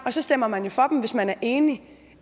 og så stemmer man jo for dem hvis man enig